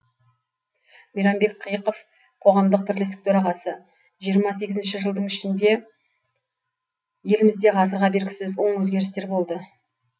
мейрамбек қиықов қоғамдық бірлестік төрағасы жиырма сегізінші жылдың ішінде елімізде ғасырға бергісіз оң өзгерістер болды